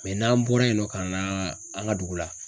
n'an bɔra yen nɔ ka na an ka dugu la.